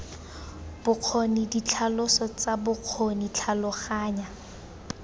bokgoni ditlhaloso tsa bokgoni tlhaloganya